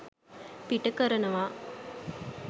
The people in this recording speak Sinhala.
පිට කරනවා.